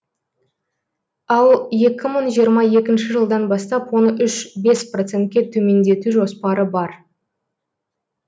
ал екі мың жиырма екінші жылдан бастап оны үш бес процентке төмендету жоспары бар